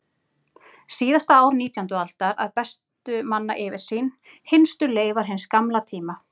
Síðasta ár nítjándu aldar að bestu manna yfirsýn, hinstu leifar hins gamla tíma.